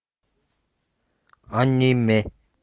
аниме